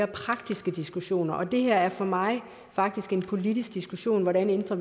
praktiske diskussioner og det er for mig faktisk en politisk diskussion hvordan vi ændrer